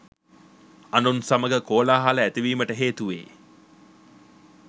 අනුන් සමග කෝලාහල ඇතිවීමට හේතු වේ.